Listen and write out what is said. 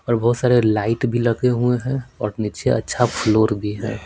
और बहुत सारे लाइट भी लगे हुए हैं और नीचे अच्छा फ्लोर भी है।